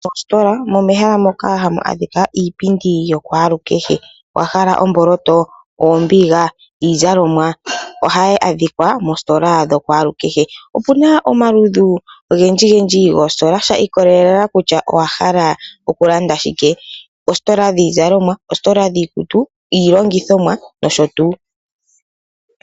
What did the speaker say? Mositola omehala moka ha mu adhika iipindi yokalukehe. Owa hala omboloto, oombiila, iizalomwa? Oha yi adhikwa moositola dhokwalukehe. Opu na omalludhi ogendji gendi goositola shiikolela kutya owa hala o ku landa shike. Oositola dhiizalomwa, oositola dhiikutu, iilongithomwa nosho tuu.